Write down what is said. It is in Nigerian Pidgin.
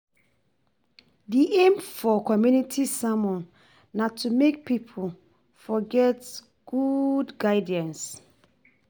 Di aim for community sermon na to make pipo for get good guidance